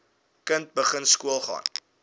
kind begin skoolgaan